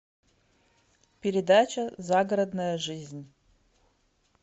передача загородная жизнь